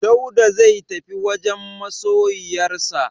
Dauda zai tafi wajen masoyiyarsa.